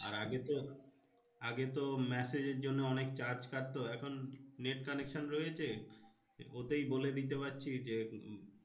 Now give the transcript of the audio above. আর আগে তো আগে তো massage এর জন্যে অনেক charge কাটতো। এখন net connection রয়েছে। ওতেই বলে দিতে পারছি যে